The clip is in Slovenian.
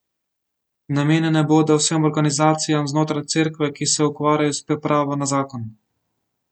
Namenjene bodo vsem organizacijam znotraj Cerkve, ki se ukvarjajo s pripravo na zakon.